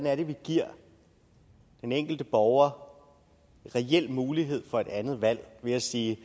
er vi giver den enkelte borger en reel mulighed for et andet valg ved at sige